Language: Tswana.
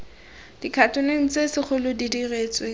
dikhatoneng tse segolo di diretsweng